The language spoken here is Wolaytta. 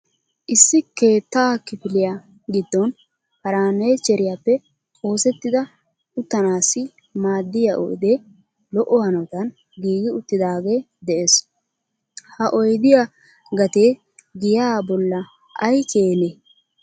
issi keettaa kifiliya giddon farannicheriyappe oosettida uttanassi maddiya oyde lo''o hanotan giigi uttidaage de'ees, ha oydiya gatee giya bolla ay keene?